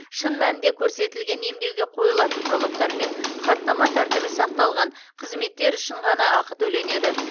шын мәнінде көрсетілген емдеуге қойылатын талаптар мен хаттама тәртібі сақталған қызметтер үшін ғана ақы төленеді